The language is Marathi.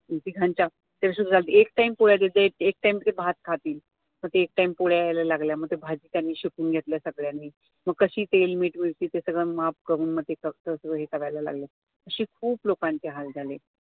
तर तिघांच्या, तर सुरु झालं एक एक time पोळ्या देत जा एक time ते भात खातील मग ते एक time पोळ्या यायला लागल्या मग ते भाजी त्यांनी शिकून घेतल्या सगळ्यांनी मग कशी तेल, मीठ, मिरची ते सगळं माप करून मग ते कारलायला लागलं अशे खूप लोकांचे हाल झाले